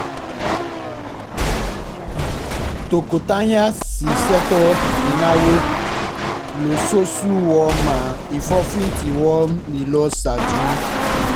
tọkọtaya yìí ṣètò ináwó lóṣooṣù wọ́n máa ń fi ohun tí wọ́n nílò ṣáájú